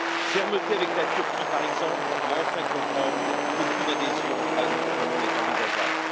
Fermeté avec la Turquie, par exemple, qui doit enfin comprendre qu'aucune adhésion à notre Union n'est envisageable.